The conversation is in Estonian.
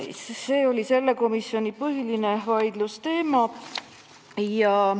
See oli põhiline vaidlusteema sellel istungil.